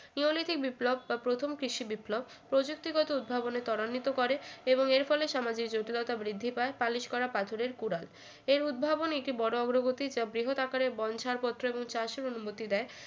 neolithic বিপ্লব বা প্রথম কৃষি বিপ্লব প্রযুক্তিগত উদ্ভাবনে ত্বরান্বিত করে এবং এর ফলে সমাজে জটিলতা বৃদ্ধি পায় পালিশ করা পাথরের কুড়াল এর উদ্ভাবন একে বড়ো অগ্রগতিতে বৃহৎ আকারের বন ছাড়পত্র এবং চাষের অনুমতি দেয়